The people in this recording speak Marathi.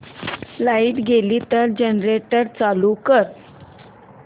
लाइट गेली तर जनरेटर चालू कर